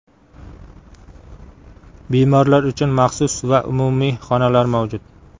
Bemorlar uchun maxsus va umumiy xonalar mavjud.